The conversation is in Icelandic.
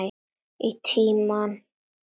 Í tíma.